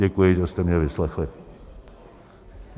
Děkuji, že jste mě vyslechli.